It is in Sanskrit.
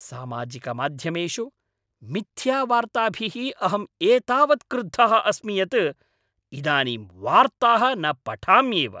सामाजिकमाध्यमेषु मिथ्यावार्ताभिः अहम् एतावत् क्रुद्धः अस्मि यत् इदानीं वार्ताः न पठाम्येव।